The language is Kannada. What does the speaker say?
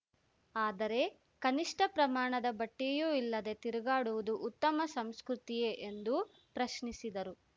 ಆದರೆ ಕನಿಷ್ಠ ಪ್ರಮಾಣದ ಬಟ್ಟೆಯೂ ಇಲ್ಲದೆ ತಿರುಗಾಡುವುದು ಉತ್ತಮ ಸಂಸ್ಕೃತಿಯೇ ಎಂದು ಪ್ರಶ್ನಿಸಿದರು